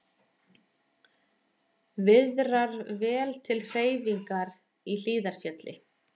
Viðrar vel til hreyfingar í Hlíðarfjalli